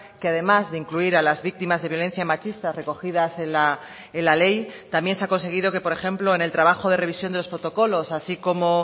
que además de incluir a las víctimas de violencia machista recogidas en la ley también se ha conseguido que por ejemplo en el trabajo de revisión de los protocolos así como